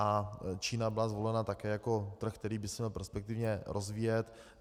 A Čína byla zvolena také jako trh, který by se měl perspektivně rozvíjet.